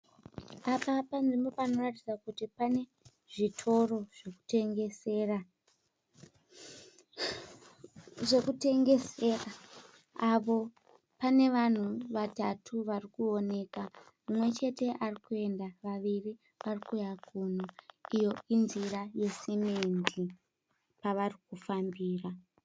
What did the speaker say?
Apa panzvimbo panoratidza kuti pane zvitoro zvekutengesera, apo pane vanhu vatatu vari kuoneka mumwe chete ari kuenda vaviri vari kuuya kuno iyo inzira yesimendi pavari kufambira.